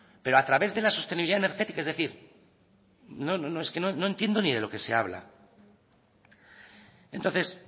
pero a través de la sostenibilidad energética es decir es que no entiendo ni de lo que se habla entonces